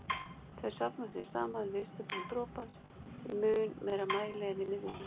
Þau safnast því saman við ystu brún dropans í mun meiri mæli en í miðjunni.